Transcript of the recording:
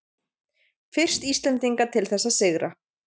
Fyrst Íslendinga til þess að sigra